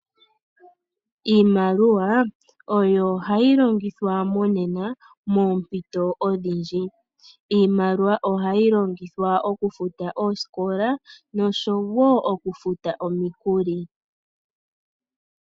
Iimaliwa oyo hayi longithwa monena moompito odhindji. Iimaliwa ohayi longithwa okufuta oositola noshowo oku futa omikuli.